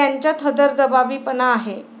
त्यांच्यात हजरजबाबीपणा आहे.